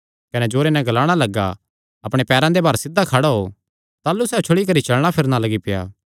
कने जोरे नैं ग्लाणा लग्गा अपणे पैरां दे भार सिध्धा खड़ा हो ताह़लू सैह़ उछल़ी करी चलणा फिरणा लग्गी पेआ